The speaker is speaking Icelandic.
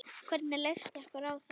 Hvernig leyst ykkur á það?